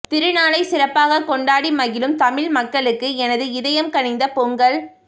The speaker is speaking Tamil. திருநாளைச் சிறப்பாக கொண்டாடி மகிழும் தமிழ் மக்களுக்கு எனது இதயம் கனிந்த பொங்கல்